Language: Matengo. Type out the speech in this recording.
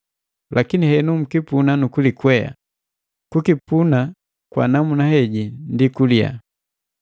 Lakini henu mkipuna nu kulikwea; kukipuna kwa namuna heji ndi kuliya.